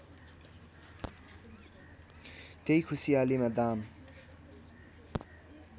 त्यही खुसियालीमा दाम